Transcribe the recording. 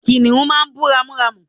kìnìhún máà ń bú ramúramù